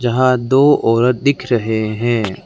यहां दो औरत दिख रहे हैं।